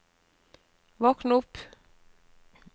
våkn opp